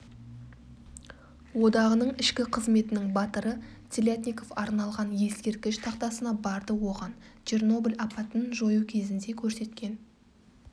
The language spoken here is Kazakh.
одағының ішкі қызметінің батыры телятников арналған ескерткіш тақтасына барды оған чернобыль апатын жою кезінде көрсеткен